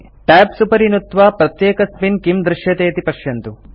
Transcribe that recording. tabs उपरि नुत्त्वा प्रत्येकस्मिन् किं दृश्यते इति पश्यन्तु